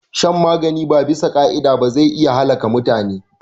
Shan magani ba abisa ka'ida ba zai iya halaka mutune